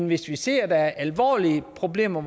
hvis de ser at der er alvorlige problemer